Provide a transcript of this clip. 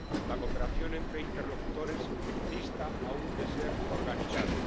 embargo, la cooperación entre interlocutores dista aún de ser organizada.